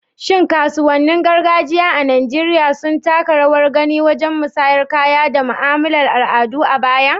Shin kasuwannin gargajiya a Najeriya sun taka rawar gani wajen musayar kaya da mu'amalar al'adu a baya?